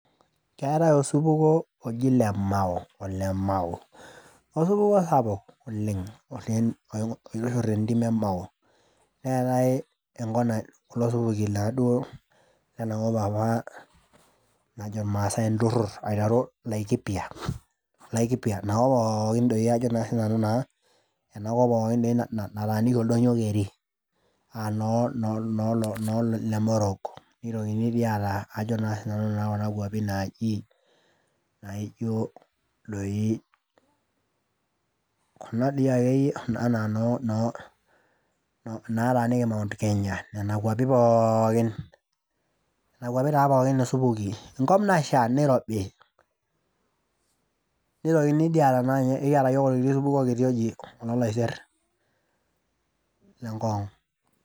Keetae osupuko oji lemao, ole mao , osupuko sapuk oleng ,oleng, oipirta te ntim emao , neetae enko, kulo supuki naaduo lena kop apa najo irmaasae inturur aiteru laikipia , laikipia , ina kop pookin ajo naa sinanu naa enakop doi nataaniki oldonyio keri aa noo , noo lemorok , nitokini aata ajo naa sinanu kuna kwapi naji naijo doi, kuna dii akeyie anaa inoo noo , naataniki mount Kenya, nena kwapi pookin. Nena kwapi taa pookin isupuki , enkop nasha, Nairobi, ntokini dii aata , enkiata yiook orkiti supuko oji oloolaiser le Ngong.